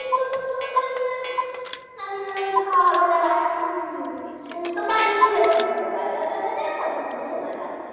ওই খাওয়া হবে না হয় তো বানিয়েই দেব দুটো Burger বানাতে আর কতক্ষণ সময় লাগবে